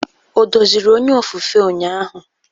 O doziri onye ofufe ụnyaahụ?